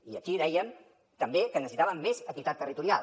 i aquí dèiem també que necessitàvem més equitat territorial